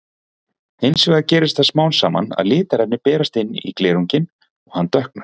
Hins vegar gerist það smám saman að litarefni berast inn í glerunginn og hann dökknar.